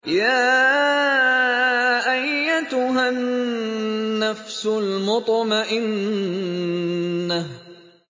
يَا أَيَّتُهَا النَّفْسُ الْمُطْمَئِنَّةُ